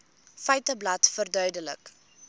feiteblad verduidelik